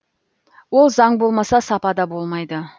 ол заң болмаса сапа да болмайды